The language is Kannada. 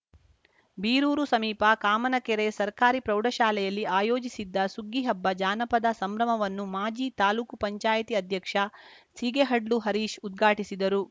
ಬೀರೂರು ಸಮೀಪ ಕಾಮನಕೆರೆ ಸರ್ಕಾರಿ ಪ್ರೌಢಶಾಲೆಯಲ್ಲಿ ಆಯೋಜಿಸಿದ್ದ ಸುಗ್ಗಿಹಬ್ಬ ಜಾನಪದ ಸಂಭ್ರಮವನ್ನು ಮಾಜಿ ತಾಲೂಕು ಪಂಚಾಯಿತಿ ಅಧ್ಯಕ್ಷ ಸಿಗೇಹಡ್ಲು ಹರೀಶ್‌ ಉದ್ಘಾಟಿಸಿದರು